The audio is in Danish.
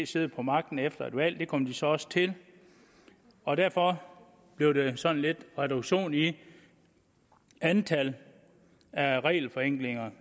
sidde på magten efter et valg og det kom de så også til og derfor blev der sådan lidt reduktion i antallet af regelforenklinger